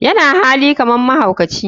yana hali kaman mahaukaci.